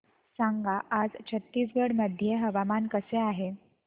सांगा आज छत्तीसगड मध्ये हवामान कसे आहे